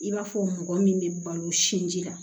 I b'a fɔ mɔgɔ min bɛ balo sin ji la